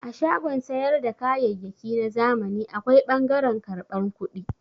A shagon sayar da kayyayyaki na zamani akwai ɓangaren karban kudi.